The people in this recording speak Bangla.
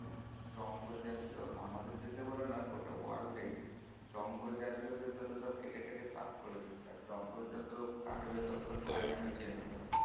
জঙ্গল যা ছিলো সে গুলো তো সব কেটে কেটে সাফ করে দিয়েছে আর জঙ্গল যত কাটবে তত তো climate change হবে